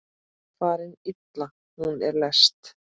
Farin illa hún er lest.